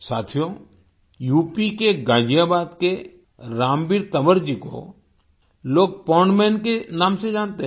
साथियो यूपी के गाज़ियाबाद के रामवीर तंवर जी को लोग पोंड मन के नाम से जानते हैं